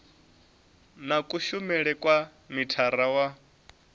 na kushumele kwa mithara wa